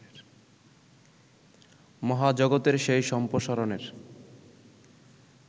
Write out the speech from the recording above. মহাজগতের সেই সম্প্রসারণের